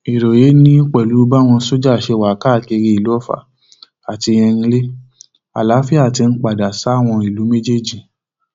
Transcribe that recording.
ìròyé ni pẹlú báwọn sójà ṣe wà káàkiri ìlú ọfà àti erinlẹ àlàáfíà tí ń padà sáwọn ìlú méjèèjì